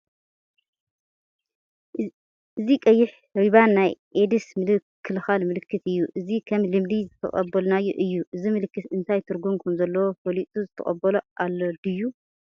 እዚ ቀይሕ ሪባን ናይ ኤድስ ምክልኻል ምልክት እዩ፡፡ እዚ ከም ልምዲ ዝተቐበልናዮ እዩ፡፡ እዚ ምልክት እንታይ ትርጉም ከምዘለዎ ፈሊጡ ዝተቐበሎ ኣሎ ድዩ?